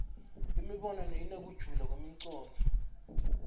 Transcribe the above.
imibono inekujula kwemcondvo